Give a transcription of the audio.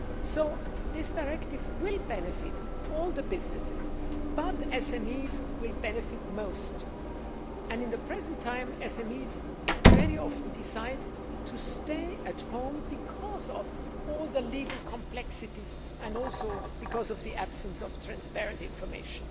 So this directive will benefit all businesses, but SMEs will benefit most, and at the present time, SMEs very often decide to stay at home because of all the legal complexities and also because of the absence of transparent information.